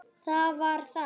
Það var það!